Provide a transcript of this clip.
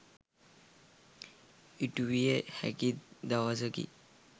ඉටුවිය හැකි දවසකි.